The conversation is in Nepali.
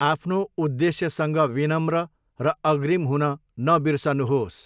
आफ्नो उद्देश्यसँग विनम्र र अग्रिम हुन नबिर्सनुहोस्।